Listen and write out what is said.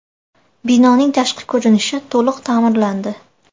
Binoning tashqi ko‘rinishi to‘liq ta’mirlandi.